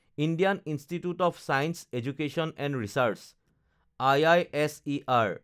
Indian institute of science education and research (IISER)